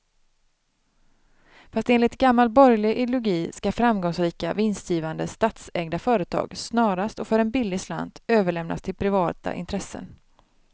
Fast enligt gammal borgerlig ideologi ska framgångsrika, vinstgivande statsägda företag snarast och för en billig slant överlämnas till privata intressen.